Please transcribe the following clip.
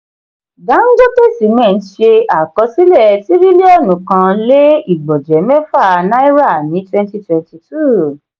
dangote cement ṣe àkọsílẹ̀ tiriliọnu kan lè igbọnjẹ mẹfa na'ira ní twenty twenty two